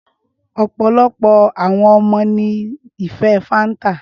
Ọpọlọpọ awọn ọmọ ni ife fanta.